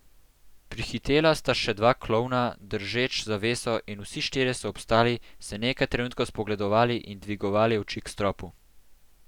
Prihitela sta še dva klovna, držeč zaveso, in vsi štirje so obstali, se nekaj trenutkov spogledovali in dvigovali oči k stropu.